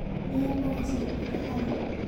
Ra mboga cia bata harĩ